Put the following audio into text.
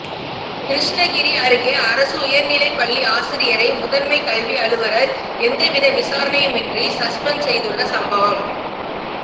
கிருஷ்ணகிரி அருகே அரசு உயர்நிலைப்பள்ளி ஆசிரியரை முதன்மைக் கல்வி அலுவலர் எந்தவித விசாரணையுமின்றி சஸ்பெண்ட் செய்துள்ள சம்பவம்